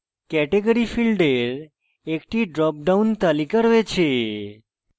category ফীল্ডের একটি drop down তালিকা রয়েছে